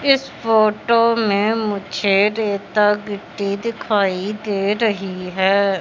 इस फोटो में मुझे रेता गिट्टी दिखाई दे रही है।